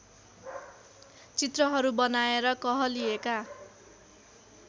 चित्रहरू बनाएर कहलिएका